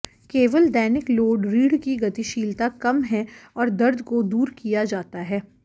केवल दैनिक लोड रीढ़ की गतिशीलता कम है और दर्द को दूर किया जाता है